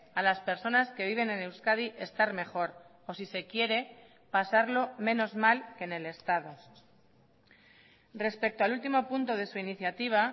a las personas que viven en euskadi estar mejor o si se quiere pasarlo menos mal que en el estado respecto al último punto de su iniciativa